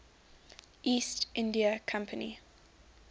east india company